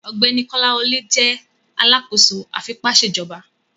Ọgbẹni Kolawole jẹ alakoso afipaṣejọba